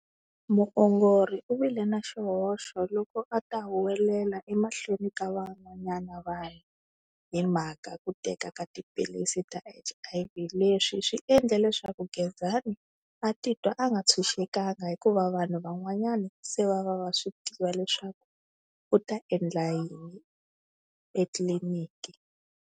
Muongori u vile na xihoxo loko a ta huwelela emahlweni ka van'wanyana vanhu hi mhaka ku teka ka tiphilisi ta H_I_V, leswi swi endle leswaku Gezani a titwa a nga tshunxekanga hikuva vanhu van'wanyana se va va va swi tiva leswaku u ta endla yini etliliniki.